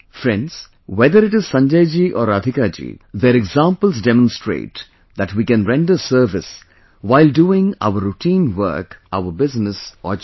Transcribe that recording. Friends, whether it is Sanjay ji or Radhika ji, their examples demonstrate that we can render service while doing our routine work, our business or job